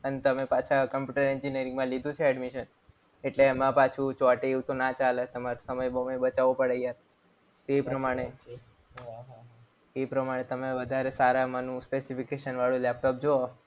આને તમે પાછા computer engineering માં લીધું છે admission એટલે એમાં પાછું ચોટે એવું તો ના ચાલે. એમાં સમય બચાવો પડે એ પ્રમાણે એ પ્રમાણે તમે વધારે સારા મનો specification વાળું લેપટોપ જુઓ.